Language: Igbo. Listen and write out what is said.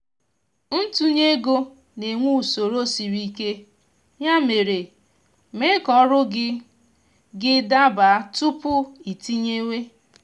ntunye ego na-enwe usoro sịrị ike ya mere mee ka ọrụ gị gị daba tupu iitinyewe